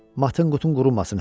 Matın qutun qurumasın.